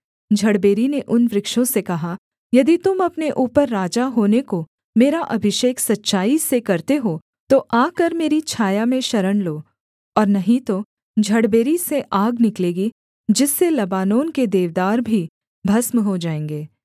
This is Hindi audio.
झड़बेरी ने उन वृक्षों से कहा यदि तुम अपने ऊपर राजा होने को मेरा अभिषेक सच्चाई से करते हो तो आकर मेरी छाया में शरण लो और नहीं तो झड़बेरी से आग निकलेगी जिससे लबानोन के देवदार भी भस्म हो जाएँगे